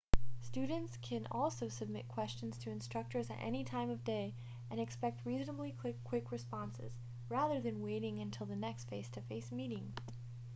students can also submit questions to instructors at any time of day and expect reasonably quick responses rather than waiting until the next face-to-face meeting